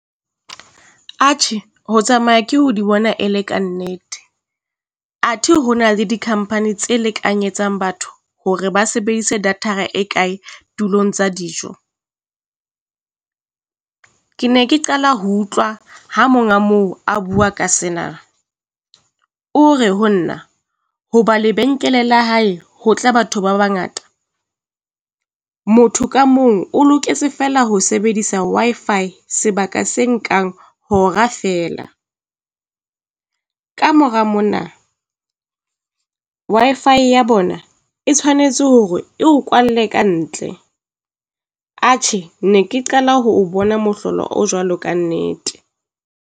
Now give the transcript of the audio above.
Atjhe, ho tsamaya ke ho di bona e le kannete. Athe ho na le di company tse lekanyetsang batho hore ba sebedise data-ra e kae tulong tsa dijo, ke ne ke qala ho utlwa ha monga moo a bua ka sena. O re ho nna ho ba lebenkele la hae ho tle batho ba bangata, motho ka mong o loketse feela ho sebedisa Wi-Fi sebaka se nkang hora feela, ka mora mona Wi-Fi ya bona e tshwanetse hore e ho kwalle ka ntle. Atjhe ne ke qala ho o bona mohlolo o jwalo kannete.